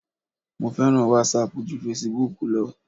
Mo fẹ́ràn wásaàpù ju fesibúùkù lọ.